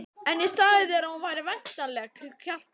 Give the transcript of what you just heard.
En ég sagði þér að hún væri væntanleg, Kjartan.